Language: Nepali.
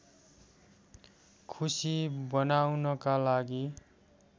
खुसी बनाउनका लागि